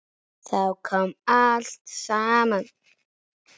Þá kom allt saman.